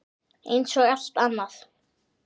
Eins og allt annað.